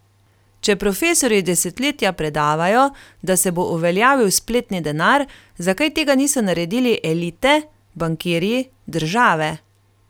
Če profesorji desetletja predavajo, da se bo uveljavil spletni denar, zakaj tega niso naredili elite, bankirji, države?